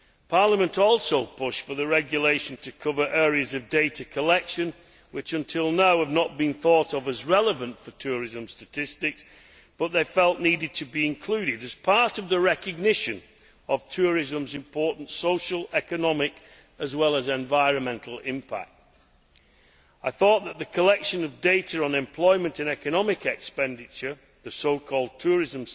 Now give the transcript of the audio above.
Parliament also pushed for the regulation to cover areas of data collection which, until now, have not been thought of as relevant for tourism statistics but which we felt needed to be included as part of the recognition of tourism's important social, economic and environmental impact. I thought that the collection of data on employment and economic expenditure the so called tourism